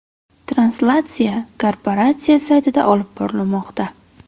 Translyatsiya korporatsiya saytida olib borilmoqda.